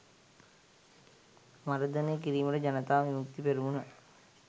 මර්ධනය කිරීමට ජනතා විමුක්ති පෙරමුණ